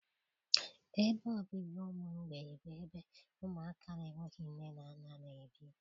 Ebe obibi ụmụ mgbei bụ ebe ụmụaka na-enweghị nne na nna n'ebi